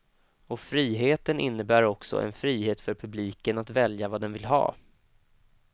Och friheten innebär också en frihet för publiken att välja vad den vill ha.